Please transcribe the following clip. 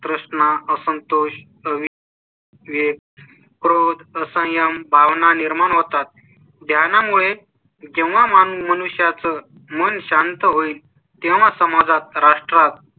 प्रश्न असंतोष. ते क्रोध सायं भावना निर्माण होतात. ज्ञाना मुळे जेव्हा मनुष्या चं मन शांत होईल तेव्हा समाजात राष्ट्रात